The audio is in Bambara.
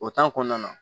O kɔnɔna na